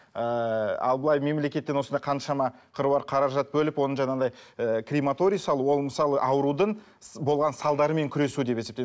ыыы ал былай мемлекеттен осындай қаншама қыруар қаражат бөліп оны жаңағыдай ыыы крематорий салу ол мысалы аурудың болған салдарымен күресу деп есепте